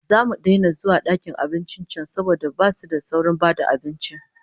Zamu daina zuwa dakin abincin can saboda basu da saurin ba da abinci